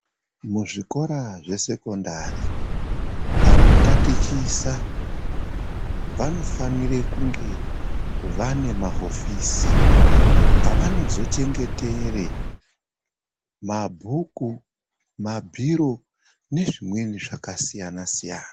Muzvikora zvesekondari anotatichisa vanofanira kunge vane mahofisi ava nozochengetera mabhuku mabhiro nezvimwe zvakasiyana siyana.